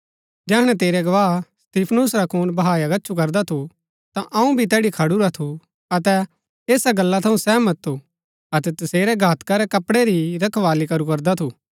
जैहणै तेरै गवाह स्तिफनुस रा खून बहाया गच्छु करदा थु तां अऊँ भी तैड़ी खडुरा थु अतै ऐसा गल्ला थऊँ सहमत थु अतै तसेरै घातका रै कपड़ै री रखवाली करू करदा थु